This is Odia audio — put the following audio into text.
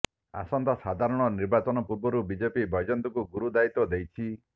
ଆସନ୍ତା ସାଧାରଣ ନିର୍ବାଚନ ପୂର୍ବରୁ ବିଜେପି ବୈଜୟନ୍ତଙ୍କୁ ଗୁରୁ ଦାୟିତ୍ୱ ଦେଇଛି